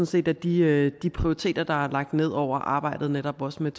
set at de de prioriteter der er lagt ned over arbejdet netop også med